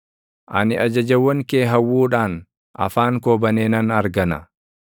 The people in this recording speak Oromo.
Ani ajajawwan kee hawwuudhaan afaan koo banee nan hargana.